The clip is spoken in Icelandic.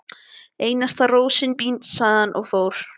Einasta rósin mín, sagði hann og fór.